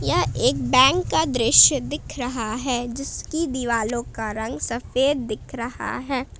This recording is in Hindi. यह एक बैंक का दृश्य दिख रहा है जिसकी दीवालो का रंग सफेद दिख रहा है।